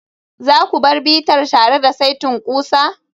za ku bar bitar tare da saitin ƙusa?